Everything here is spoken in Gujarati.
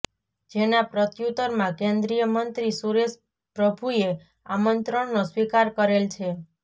જેના પ્રત્યુતરમાં કેન્દ્રીય મંત્રી સુરેશ પ્રભુએ આમંત્રણનો સ્વીકાર કરેલ છે